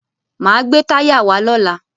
Máa gbé táyà wá lọ́la.